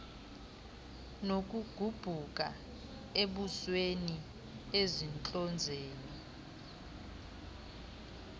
nokugubhuka ebusweni entlonzeni